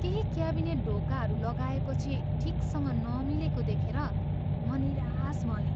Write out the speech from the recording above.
केही क्याबिनेट ढोकाहरू लगाएपछि ठिकसँग नमिलेको देखेर म निराश भएँ।